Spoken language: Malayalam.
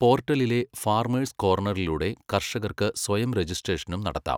പോർട്ടലിലെ ഫാർമേഴ്സ് കോർണറിലൂടെ കർഷകർക്ക് സ്വയം രജിസ്ട്രേഷനും നടത്താം.